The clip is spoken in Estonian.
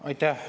Aitäh!